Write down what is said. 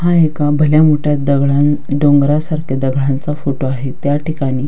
हा एका भल्या मोठ्या दगडा न डोंगरासारख्या दगडांचा फोटो आहे त्याठिकाणी.